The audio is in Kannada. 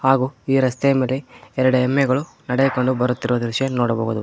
ಹಾಗು ಈ ರಸ್ತೆ ಮೇಲೆ ಎರಡ ಎಮ್ಮೆಗಳು ನಡೆಯಕೊಂಡು ಬರುತ್ತಿರುವ ದೃಶ್ಯ ನೋಡಬಹುದು.